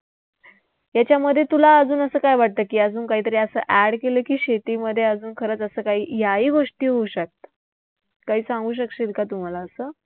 त्याच्यामध्ये तुला अजून असं काय वाटतं की अजून काहीतरी असं add केलं की शेतीमध्ये अजून खरंच असं काही याही गोष्टी होऊ शकतात. काही सांगू शकशील का तू मला आत्ता?